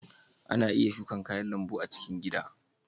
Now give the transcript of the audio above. Ana iya shuka kayan lambu a cikin gida.